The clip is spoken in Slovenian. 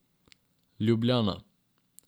Ljubljana.